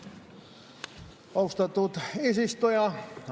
Austatud eesistuja!